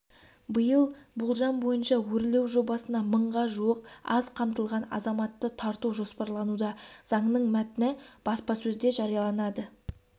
биыл болжам бойынша өрлеу жобасына мыңға жуық аз қамтылған азаматты тарту жоспарлануда заңның мәтіні баспасөзде жарияланады